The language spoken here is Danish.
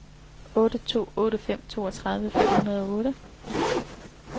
otte to otte fem toogtredive fem hundrede og otte